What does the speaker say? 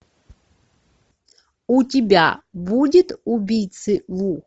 у тебя будет убийцы ву